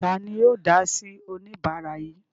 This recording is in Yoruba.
Ta ni yóò dá sí oníbàárà yìí?